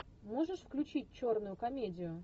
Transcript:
можешь включить черную комедию